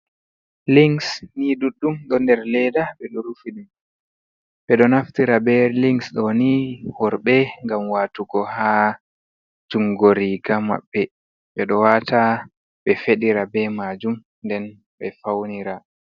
Links ni ɗuɗɗum ɗo nder leda, ɓeɗo rufi dum ɓeɗo naftira be links ɗoni worɓe ngam watugo ha jungoriga maɓɓe, ɓeɗo wata be feɗira bemajum nden ɓe faunira.